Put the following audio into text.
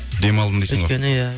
демалдым дейсің ғой өйткені иә